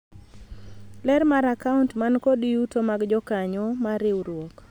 ler mar akaunt man kod yuto mag jokanyo mar riwruok